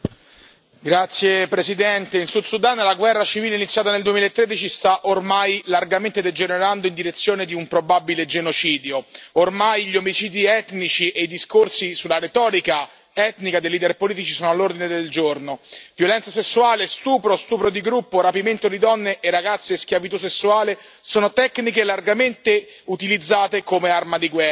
Signor Presidente, onorevoli colleghi, in Sud Sudan la guerra civile iniziata nel 2013 sta ormai largamente degenerando in direzione di un probabile genocidio. Ormai gli omicidi etnici e i discorsi sulla retorica etnica dei leader politici sono all'ordine del giorno, violenza sessuale, stupro, stupro di gruppo, rapimento di donne e ragazze e schiavitù sessuale sono tecniche largamente utilizzate come armi di guerra.